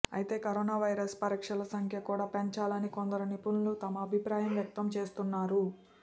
అయితే coronavirus పరీక్షల సంఖ్య కూడా పెంచాలని కొందరు నిపుణులు తమ అభిప్రాయం వ్యక్తం చేస్తున్నారు